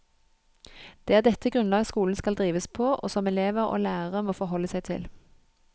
Det er dette grunnlag skolen skal drives på, og som elever og lærere må forholde seg til.